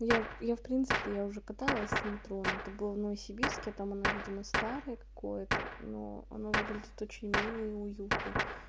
я я в принципе то я уже каталась в метро но это было в новосибирске а там оно видимо старое какое-то но оно выглядит очень мило и уютно